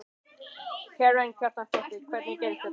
Karen Kjartansdóttir: Hvernig gerðist þetta?